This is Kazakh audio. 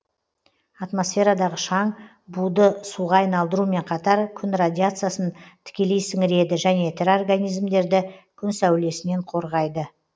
атмосферадағы шаң буды суға айналдырумен қатар күн радиациясын тікелей сіңіреді және тірі организмдерді күн сәулесінен қорғайды